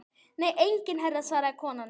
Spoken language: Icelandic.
Nei enginn herra svaraði konan.